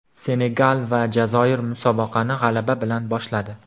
Senegal va Jazoir musobaqani g‘alaba bilan boshladi .